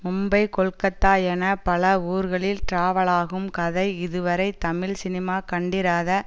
மும்பை கொல்கத்தா என பல ஊர்களில் டிராவலாகும் கதை இதுவரை தமிழ்சினிமா கண்டிராத